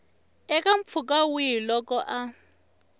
eka mpfhuka wihi loko a